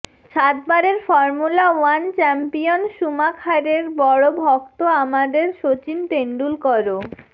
সাতবারের formula one champion শ্যুমাখারের বড় ভক্ত আমাদের সচিন তেন্ডুলকরও